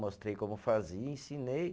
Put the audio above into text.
Mostrei como fazia, ensinei.